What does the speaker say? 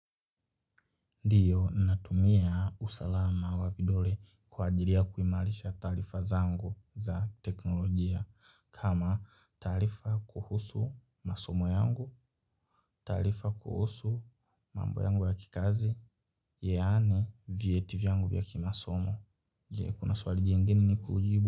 Ndiyo natumia usalama wa vidole kwa ajiri ya kuimalisha talifa zangu za teknolojia kama talifa kuhusu masomo yangu, talifa kuhusu mambo yangu wa kikazi, yani vyeti vyangu vya kimasomo. Kuna swali jengine nikujibu.